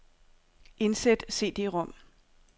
Indsæt cd-rom.